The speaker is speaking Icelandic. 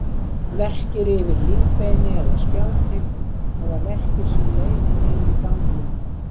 Verkir yfir lífbeini eða spjaldhrygg, eða verkir sem leiða niður í ganglimi.